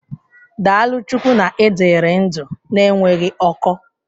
Daalụ Chukwu na ị dịrị ndụ na-enweghị ọkọ.